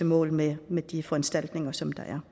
mål med med de foranstaltninger som der er